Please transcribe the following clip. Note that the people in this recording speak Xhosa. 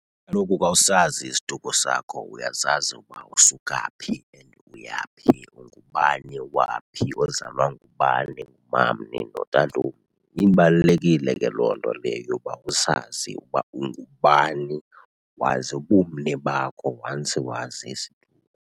Kaloku ka usazi isiduko sakho uyazazi uba usuka phi and uya phi, ungubani waphi, ozalwa ngubani, ungumamni . Ibalulekile ke loo nto leyo yoba usazi ukuba ungubani, wazi ubumni bakho once wazi isiduko.